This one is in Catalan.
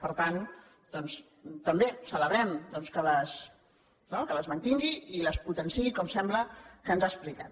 per tant doncs també celebrem no que les mantingui i les potenciï com sembla que ens ha explicat